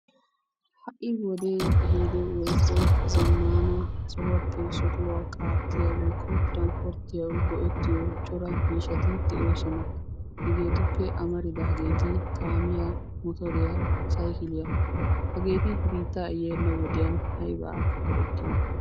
Ha"i wodee ehiido woykko zammaana sohuwappe sohuwa qaattiya woykko tiranspporttiyawu go'ettiyo cora miishshati de'oosona. Hegeetuppe amaridaageeti: kaamiya, motoriya, saykiliya hageti biittaa yeenna wodiyan aybaa go'ettiyonaa?